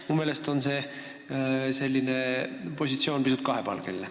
Minu meelest on selline positsioon pisut kahepalgeline.